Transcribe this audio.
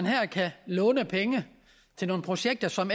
her kan lånes penge til nogle projekter som